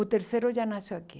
O terceiro já nasceu aqui.